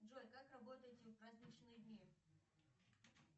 джой как работаете в праздничные дни